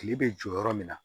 Kile bɛ jɔ yɔrɔ min na